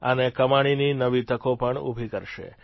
અને કમાણીની નવી તકો પણ ઉભી કરશે